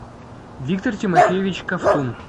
виктор тимофеевич ковтун